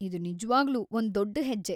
ಇದ್‌ ನಿಜ್ವಾಗ್ಲೂ ಒಂದು ದೊಡ್ಡ್‌ ಹೆಜ್ಜೆ!